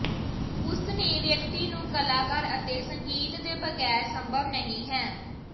ਉਸ ਨੇ ਵਿਅਕਤੀ ਨੂੰ ਕਲਾਕਾਰ ਅਤੇ ਸੰਗੀਤ ਦੇ ਬਗੈਰ ਸੰਭਵ ਨਹੀ ਹੈ